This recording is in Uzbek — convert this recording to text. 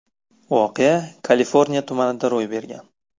Voqea Kaliforniya tumanida ro‘y bergan.